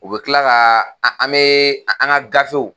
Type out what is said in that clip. U bɛ kila ka an an bɛ an ka gafew